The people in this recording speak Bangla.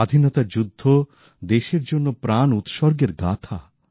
স্বাধীনতার যুদ্ধ দেশের জন্য প্রাণ উৎসর্গের গাথা